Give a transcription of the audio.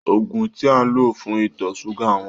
Òògun tí à ń lò fún ìtọ ṣúgà wọ́n.